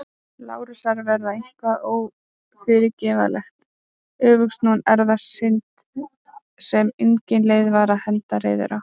Lárusar var eitthvað ófyrirgefanlegt- öfugsnúin erfðasynd sem engin leið var að henda reiður á.